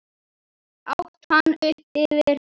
át hann upp eftir henni.